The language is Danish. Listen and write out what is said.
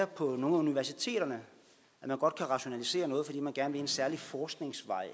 på nogle af universiteterne kan rationalisere noget fordi man gerne vil en særlig forskningsvej